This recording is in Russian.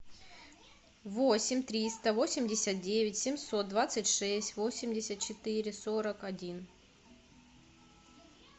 восемь триста восемьдесят девять семьсот двадцать шесть восемьдесят четыре сорок один